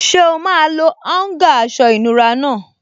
Ṣé o máa lo áúngà aṣọ ìnura náà?